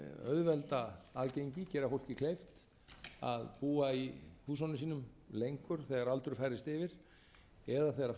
auðvelda aðgengi gera fólki kleift að búa í húsunum sínum lengur þegar aldur færist yfir eða þegar